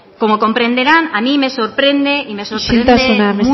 como comprenderán a mí me sorprende y me sorprende mucho isiltasuna